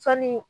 Sanni